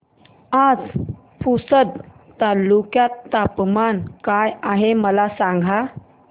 आज पुसद तालुक्यात तापमान काय आहे मला सांगा